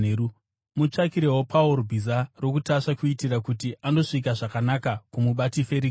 Mutsvakirewo Pauro bhiza rokutasva kuitira kuti andosvika zvakanaka kuMubati Ferikisi.”